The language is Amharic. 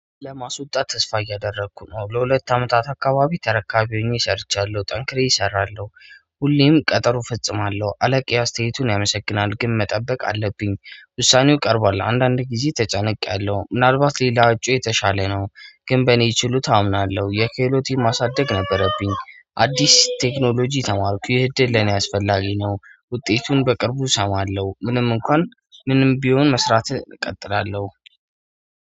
ለማስወጣት ተስፋ እያደረኩ ነው ለሁለት አመታት አካባቢ ተረካቢ ሆኜ ሰርቻለሁ ጠንክሬ እሰራለሁ። ሁሌም ቀጠሮ ፈጽማለሁ አለቃየ አስተያየቱን ያመሰግናል ግን መጠበቅ አለብኝ። ውሳኔው ቀርቧል አንዳንዴ ጊዜ ተጨኒቅያለሁ ምናልባት ሌላ እጩ የተሻለ ነው። ግን በእኔ ችሎታ አምናለሁ የክህሎቴ ማሳደግ ነበረብኝ አዲስ ቴክኖሎጂ ተማርኩ ይህ ድል ለኔ አስፈላጊ ነው። ውጤቱን በቅርቡ እሰማለሁ። ምንም እንኳን ምንም ቢሆን መስራትህ እቀጥላለሁ